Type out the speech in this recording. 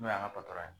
N'o y'an ka patɔrɔn ye